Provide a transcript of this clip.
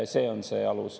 See on see alus.